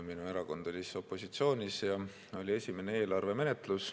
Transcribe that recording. Minu erakond oli siis opositsioonis ja oli esimene eelarve menetlus.